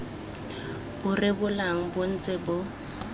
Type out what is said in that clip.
bo rebolang bo ntse bo